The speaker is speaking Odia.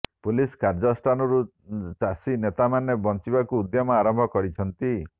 ପୁଲିସ୍ କାର୍ଯ୍ୟାନୁଷ୍ଠାନରୁ ଚାଷୀ ନେତାମାନେ ବଞ୍ଚିବାକୁ ଉଦ୍ୟମ ଆରମ୍ଭ କରିଛନ୍ତି